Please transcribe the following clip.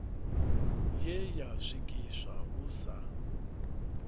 ye ya swikiswa hu sa